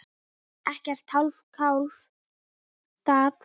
Ekkert hálfkák þar.